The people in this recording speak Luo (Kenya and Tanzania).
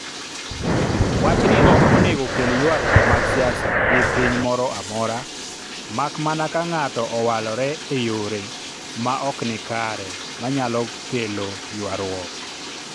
wachni ok onego okel ywaruok mag siasa gi piny moro amora ,mak mana ka ng'ato owalore e yore ma ok nikare ma nyalo kwelo ywarruok